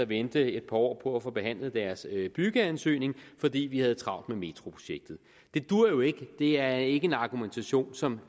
vente et par år på at få behandlet deres byggeansøgning fordi vi havde travlt med metroprojektet det duer jo ikke det er ikke en argumentation som